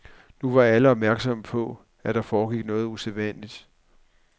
Nu var alle opmærksomme på, at der foregik noget usædvanligt.